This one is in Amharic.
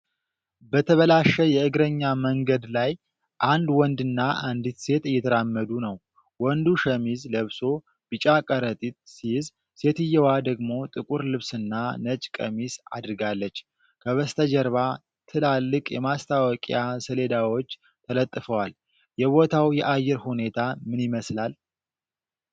በተበላሸ የእግረኛ መንገድ ላይ አንድ ወንድና አንዲት ሴት እየተራመዱ ነው። ወንዱ ሸሚዝ ለብሶ ቢጫ ከረጢት ሲይዝ፣ ሴትየዋ ደግሞ ጥቁር ልብስና ነጭ ቀሚስ አድርጋለች፤ ከበስተጀርባ ትላልቅ የማስታወቂያ ሰሌዳዎች ተለጥፈዋል፤ የቦታው የአየር ሁኔታ ምን ይመስላል?